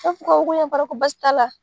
E ko basi t'a la.